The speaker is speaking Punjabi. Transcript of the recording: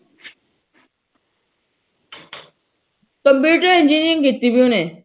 ਕੰਪਿਊਟਰ engineering ਕੀਤੀ ਵੀ ਉਹਨੇ